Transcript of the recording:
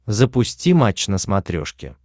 запусти матч на смотрешке